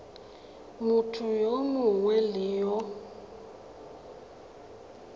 motho yo mongwe le yo